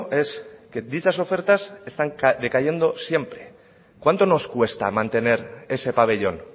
es que dichas ofertas están decayendo siempre cuánto nos cuesta mantener ese pabellón